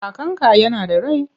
Kakanka yana da rai?